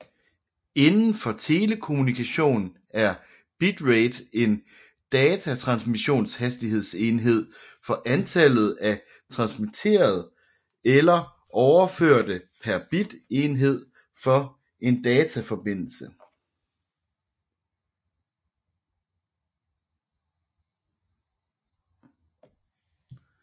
Indenfor telekommunikation er bitrate en datatransmissionshastighedsenhed for antallet af transmitterede eller overførte bit per tidsenhed for en dataforbindelse